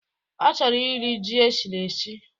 Ọ chọrọ irii ji eshiri eshi